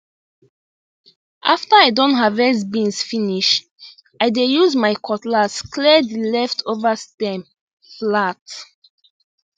after i don harvest beans finish i dey use my cutlass clear the leftover stem flat